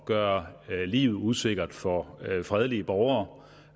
gøre livet usikkert for fredelige borgere